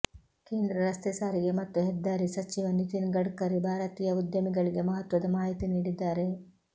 ಕೇಂದ್ರ ರಸ್ತೆ ಸಾರಿಗೆ ಮತ್ತು ಹೆದ್ದಾರಿ ಸಚಿವ ನಿತಿನ್ ಗಡ್ಕರಿ ಭಾರತೀಯ ಉದ್ಯಮಿಗಳಿಗೆ ಮಹತ್ವದ ಮಾಹಿತಿ ನೀಡಿದ್ದಾರೆ